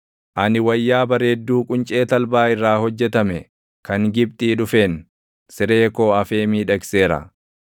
Ani wayyaa bareedduu quncee talbaa irraa hojjetame kan Gibxii dhufeen, siree koo afee miidhagseera.